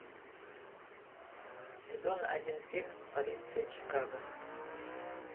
сезон один фильм полиция чикаго